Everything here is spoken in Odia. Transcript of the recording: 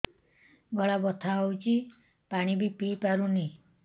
ଗଳା ବଥା ହଉଚି ପାଣି ବି ପିଇ ପାରୁନି